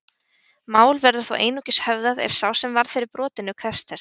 Mál verður þó einungis höfðað ef sá sem varð fyrir brotinu krefst þess.